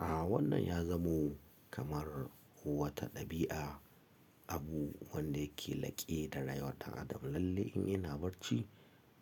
A'a wannan ya zamo kamar wata ɗabi'a, abu wanda yake laƙe da rayuwar ɗan adam. Lalle in ina barci,